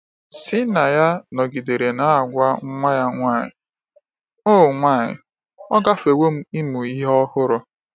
Kseniya nọgidere na-agwa nwa ya nwanyị, “Ọ nwanyị, “Ọ gafewo m ịmụ ihe ọhụrụ.”